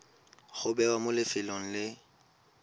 go bewa mo lefelong le